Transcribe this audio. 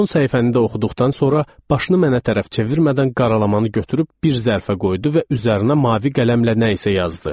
Son səhifəni də oxuduqdan sonra başını mənə tərəf çevirmədən qaralamanı götürüb bir zərfə qoydu və üzərinə mavi qələmlə nə isə yazdı.